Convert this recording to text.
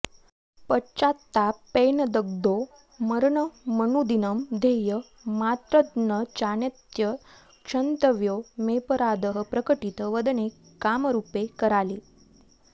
पश्चात्तापेनदग्धो मरणमनुदिनं ध्येय मात्रन्नचान्यत् क्षन्तव्यो मेऽपराधः प्रकटित वदने कामरूपे कराले